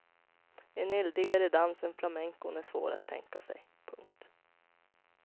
En eldigare dans än flamencon är svår att tänka sig. punkt